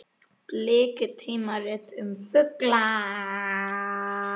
Bliki: tímarit um fugla.